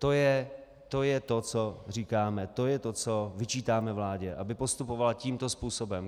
To je to, co říkáme, to je to, co vyčítáme vládě, aby postupovala tímto způsobem.